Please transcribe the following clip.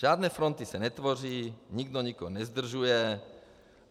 Žádné fronty se netvoří, nikdo nikoho nezdržuje.